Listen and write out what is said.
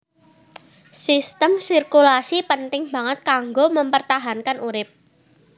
Sistem sirkulasi penting banget kanggo mempertahankan urip